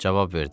Cavab verdi: